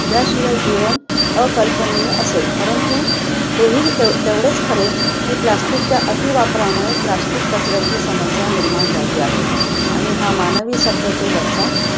ज्याशिवाय जीवन अकल्पनीय असेल, परंतु हे ही ते~ तेवढेच खरे plastic च्या अतिवापरामुळे plastic कचऱ्याची समस्या निर्माण झाली आहे. आणि हा मानवी सभ्यतेवरचा